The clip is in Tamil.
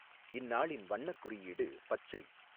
இந்நாளின் வண்ணக் குறியீடு பச்சை.